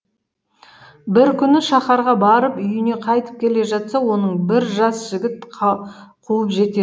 бір күні шаһарға барып үйіне қайтып келе жатса оны бір жас жігіт қуып жетеді